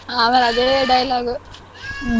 ಆಮೇಲ್ ಅದೇ dialogue .